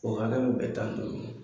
O hakɛ bɛ bɛn taniduuru ma.